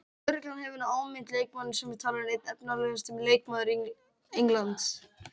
Lögreglan hefur nú áminnt leikmanninn sem er talinn einn efnilegasti leikmaður Englands.